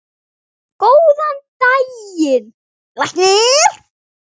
Góðan daginn, læknir.